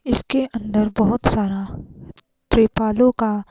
इसके अंदर बहोत सारा त्रिपालो का--